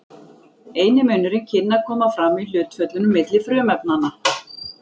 Eini munurinn kynni að koma fram í hlutföllunum milli frumefnanna.